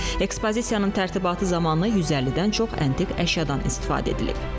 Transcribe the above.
Ekspozisiyanın tərtibatı zamanı 150-dən çox antik əşyadan istifadə edilib.